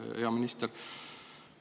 Hea minister!